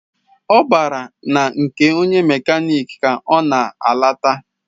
Ọ bara na nke onye mekaniki ka ọ na-alata.